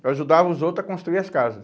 Eu ajudava os outros a construir as casas.